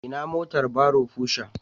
Ina motar barrow Pusher?